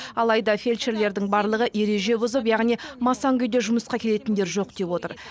алайда фельдшерлердің барлығы ереже бұзып яғни масаң күйде жұмысқа келетіндер жоқ деп отыр